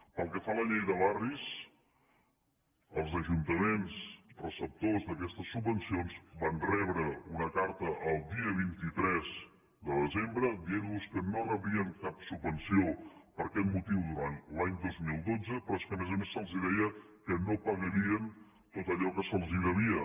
pel que fa a la llei de barris els ajuntaments receptors d’aquestes subvencions van rebre una carta el dia vint tres de desembre en què se’ls deia que no rebrien cap subvenció per aquest motiu durant l’any dos mil dotze però és que a més a més se’ls deia que no pagarien tot allò que se’ls devia